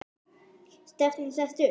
Er stefnan sett upp?